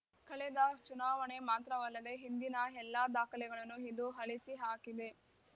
ಕಳೆದ ಚುನಾವಣೆ ಮಾತ್ರವಲ್ಲದೇ ಹಿಂದಿನ ಎಲ್ಲಾ ದಾಖಲೆಗಳನ್ನು ಇದು ಅಳಿಸಿ ಹಾಕಿದೆ